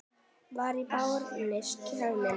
Var af Birni kominn Sveinn.